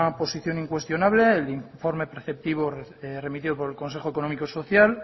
posición incuestionable el informe preceptivo remitido por el consejo económico y social